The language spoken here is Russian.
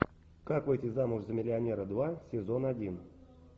как выйти замуж за миллионера два сезон один